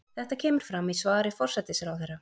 Þetta kemur fram í svari forsætisráðherra